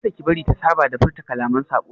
Kada ki bari ta saba da furta kalaman saɓo!